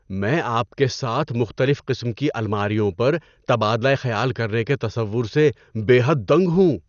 میں آپ کے ساتھ مختلف قسم کی الماریوں پر تبادلہ خیال کرنے کے تصور سے بے حد دنگ ہوں۔